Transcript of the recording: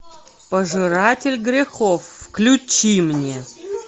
пожиратель грехов включи мне